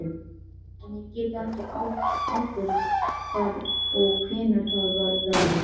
En ég get ekki ábyrgst hvar og hvenær það verður.